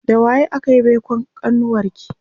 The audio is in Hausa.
da waye akayi baikon kanuwarki?